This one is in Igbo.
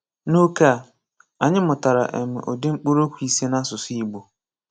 N’ókè a, anyị mụtara um ụdị mkpụrụokwu ise n’asụsụ Igbo.